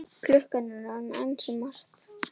Klukkan er orðin ansi margt.